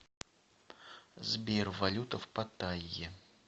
сбер валюта в паттайе